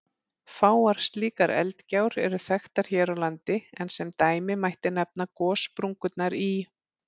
Fáar slíkar eldgjár eru þekktar hér á landi, en sem dæmi mætti nefna gossprungurnar í